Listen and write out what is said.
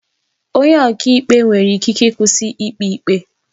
Onye ọka ikpe nwere ikike ịkwụsị ikpe ikpe